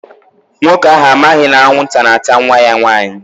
Nwoke ahụ amaghị na anwụnta na-ata nwa ya nwanyị.